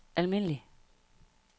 almindelig